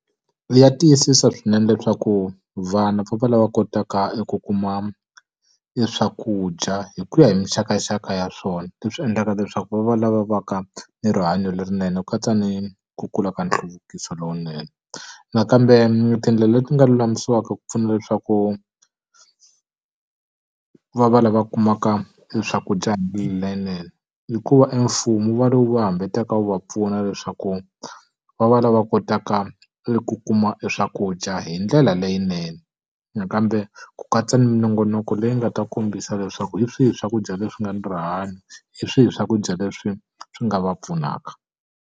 Ya tiyisisa swinene leswaku vana va va lava kotaka ku kuma e swakudya hi ku ya hi minxakanxaka ya swona, leswi endlaka leswaku va va lava va ka ni rihanyo lerinene ku katsa ni ku kula ka nhluvukiso lowunene. Nakambe tindlela leti nga lulamisiwaka ku pfuna leswaku va va lava kumakae swakudya hi mbilu leyinene i ku va e mfumo wu va lowu va hambaka wu va pfuna leswaku va va lava kotaka eku kuma e swakudya hi ndlela leyinene. Nakambe ku katsa ni minongonoko leyi nga ta kombisa leswaku hi swihi swakudya leswi nga ni rihanyo, hi swihi swakudya leswi swi nga va pfunaka.